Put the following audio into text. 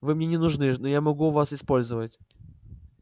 вы мне не нужны но я могу вас использовать